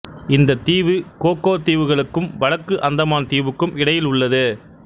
இந்த தீவு கோக்கோ தீவுகளுக்கும் வடக்கு அந்தமான் தீவுக்கும் இடையில் உள்ளது